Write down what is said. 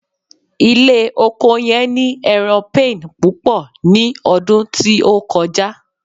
ile oko yen ni eran pain pupo ni odun ti o koja